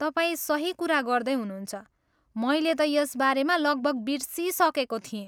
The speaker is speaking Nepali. तपाईँ सही कुरा गर्दै हुनुहुन्छ, मैले त यसबारेमा लगभग बिर्सिसकेको थिएँ।